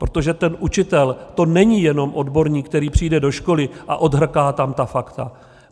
Protože ten učitel, to není jenom odborník, který přijde do školy a odhrká tam ta fakta.